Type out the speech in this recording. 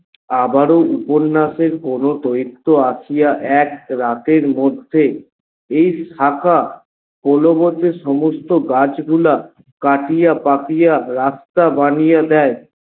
আবার ও উপন্যাসের কোনো দৈত্য আসিয়া এক রাতের মধ্যে এই শাখা পরবর্তী সমস্ত গাছগুলা কাটিয়া পাকিয়া রাস্তা বানিয়া দেয়।